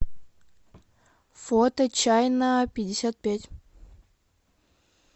фото чайнапятьдесятпять